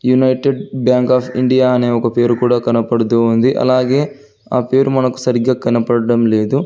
United bank of India అనే ఒక పేరు కూడా కనపడుతుంది అలాగే ఆ పేరు మనకు సరిగ్గా కనబడడం లేదు.